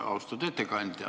Austatud ettekandja!